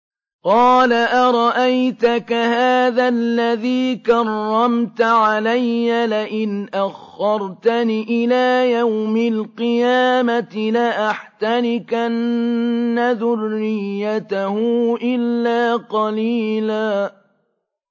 قَالَ أَرَأَيْتَكَ هَٰذَا الَّذِي كَرَّمْتَ عَلَيَّ لَئِنْ أَخَّرْتَنِ إِلَىٰ يَوْمِ الْقِيَامَةِ لَأَحْتَنِكَنَّ ذُرِّيَّتَهُ إِلَّا قَلِيلًا